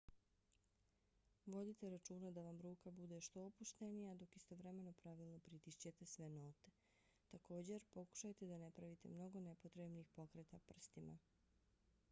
vodite računa da vam ruka bude što opuštenija dok istovremeno pravilno pritišćete sve note. također pokušajte da ne pravite mnogo nepotrebnih pokreta prstima